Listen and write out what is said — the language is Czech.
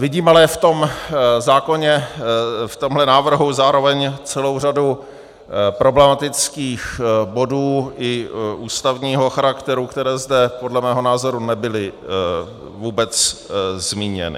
Vidím ale v tom zákoně, v tomhle návrhu, zároveň celou řadu problematických bodů i ústavního charakteru, které zde podle mého názoru nebyly vůbec zmíněny.